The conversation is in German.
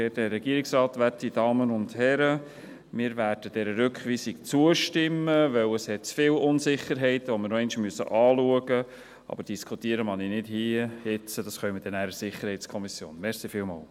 Wir werden dieser Rückweisung zustimmen, denn es hat zu viele Unsicherheiten, die wir noch einmal anschauen müssen, aber diskutieren mag ich nicht hier und jetzt, das können wir nachher in der SiK tun.